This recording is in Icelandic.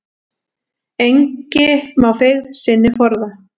Engi má feigð sinni forða.